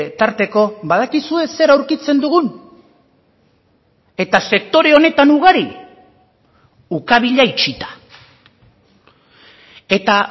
tarteko badakizue zer aurkitzen dugun eta sektore honetan ugari ukabila itxita eta